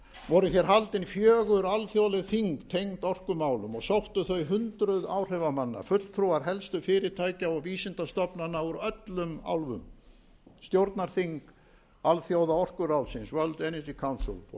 voru hér haldin fjögur alþjóðleg þing tengd orkumálum og sóttu þau hundruð áhrifamanna fulltrúar helstu fyrirtækja og vísindastofnana úr öllum álfum stjórnarþing alþjóða orkuráðsins world energy council og